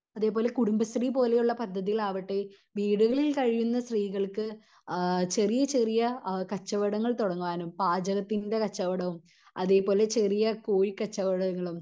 അതേപോലെ കുടുംബശ്രീ പോലെ ഉള്ള പദ്ധതികൾ ആവട്ടെ വീടുകളിൽ കഴിയുന്ന സ്ത്രീകൾക്ക് ആഹ് ചെറിയ ചെറിയ അഹ് കച്ചവടങ്ങൾ തുടങ്ങുവാനും പാചകത്തിൻ്റെ കച്ചവടവും അതേപോലെ ചെറിയ കോഴി കച്ചവടങ്ങളും